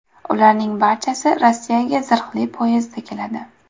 Ularning barchasi Rossiyaga zirhli poyezdda keladi.